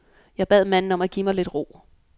Jeg bad manden om at give mig lidt ro.